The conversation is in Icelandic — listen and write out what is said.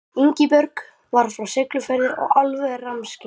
Hét Ingibjörg, var frá Siglufirði og alveg rammskyggn.